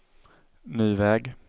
ny väg